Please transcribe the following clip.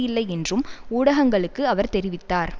இல்லை என்றும் ஊடகங்களுக்கு அவர் தெரிவித்தார்